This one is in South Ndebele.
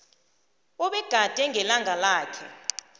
obegade ngelanga lakhe